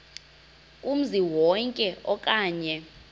kumzi wonke okanye